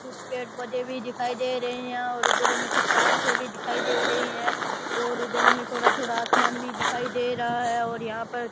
कुछ पेड़ पोधे भी दिखाई दे रहे है यहां पर अंधेरे में कुछ पहाड़ से भी दिखाई दे रही है और अंधेरे में थोड़ा थोड़ा अनसमान भी दिखाई दे रा है और यहां पर --